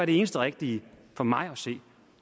det eneste rigtige for mig at se